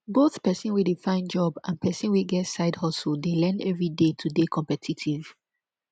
both persin wey de find job and persin wey get side hustle de learn everyday to de competitive